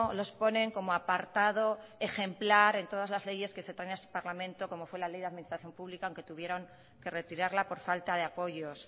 los ponen como apartado ejemplar en todas las leyes que se traen a este parlamento como fue la ley de administración pública aunque tuvieron que retirarla por falta de apoyos